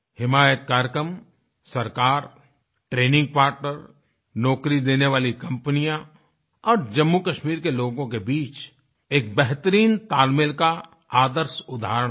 हिमायत कार्यक्रम सरकार training partner नौकरी देने वाली कम्पनियाँ और जम्मूकश्मीर के लोगों के बीच एक बेहतरीन तालमेल का आदर्श उदाहरण है